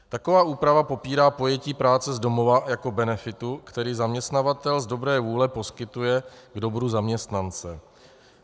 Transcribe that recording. Taková úprava popírá pojetí práce z domova jako benefitu, který zaměstnavatel z dobré vůle poskytuje k dobru zaměstnance.